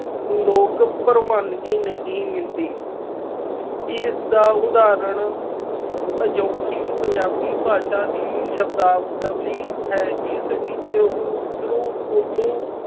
ਲੋਕ ਪ੍ਰਵਾਨਗੀ ਨਹੀ ਮਿਲਦੀ। ਇਸਦਾ ਉਦਾਹਰਨ ਅਜੋਕੀ ਪੰਜਾਬੀ ਭਾਸ਼ਾ ਦੀ ਸ਼ਬਦਾਵਲੀ ਹੈ ਜਿਸ ਵਿੱਚ ਊਤਰੂ ਉਰਦੂ